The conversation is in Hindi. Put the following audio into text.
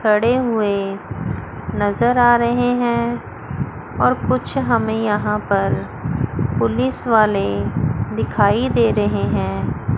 सड़े हुए नजर आ रहे हैं और कुछ हमें यहां पर पुलिस वाले दिखाई दे रहे हैं।